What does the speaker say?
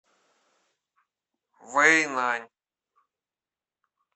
вэйнань